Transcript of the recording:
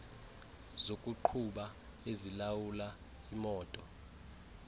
zokuqhuba ezilawula imoto